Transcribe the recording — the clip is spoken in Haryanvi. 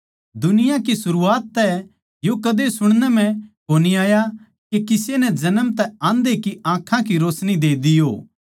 दुनिया कै सरूआत तै यो कदे सुणनै म्ह कोनी आया के किसे नै जन्म तै आन्धै की आँखां की रोशनी दि हो